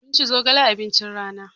Mun ci zogale abincin rana.